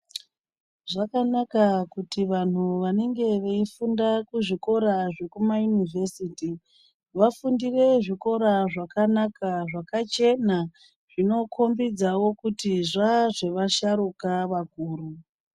Zvakanaka kuti vanhu vanenge veyifunda kuzvikora zvekumayuniversity vafundire zvikora zvakanaka zvakachena zvinokumbidzawo kuti zvaazvevasharuka vakuru.